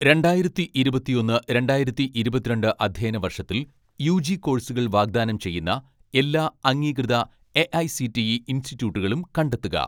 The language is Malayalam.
രണ്ടായിരത്തി ഇരുപത്തൊന്ന് രണ്ടായിരത്തി ഇരുപത്തിരണ്ട്‍ അധ്യയന വർഷത്തിൽ യു.ജി കോഴ്‌സുകൾ വാഗ്ദാനം ചെയ്യുന്ന എല്ലാ അംഗീകൃത എ.ഐ.സി.ടി.ഇ ഇൻസ്റ്റിറ്റ്യൂട്ടുകളും കണ്ടെത്തുക